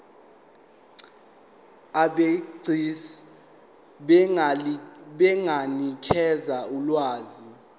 abegcis benganikeza ulwazi